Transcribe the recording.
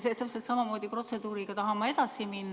Jaa, täpselt samamoodi protseduuriga tahan ma edasi minna.